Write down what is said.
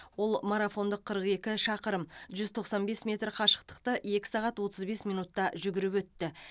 ол марафондық қырық екі шақырым жүз тоқсан бес метр қашықтықты екі сағат отыз бес минутта жүгіріп өтті